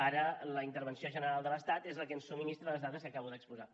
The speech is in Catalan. ara la intervenció general de l’estat és la que ens subministra les dades que acabo d’exposar